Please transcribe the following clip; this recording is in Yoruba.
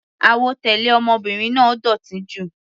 Àwọ̀ tẹlẹ ọmọbìnrin náà dótì jù.